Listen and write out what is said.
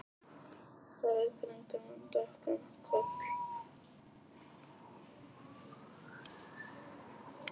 Nikanor, hversu margir dagar fram að næsta fríi?